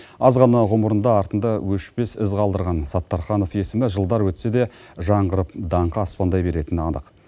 аз ғана ғұмырында артында өшпес із қалдырған саттарханов есімі жылдар өтсе де жаңғырып даңқы аспандай беретіні анық